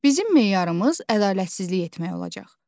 Bizim meyarımız ədalətsizlik etmək olacaq.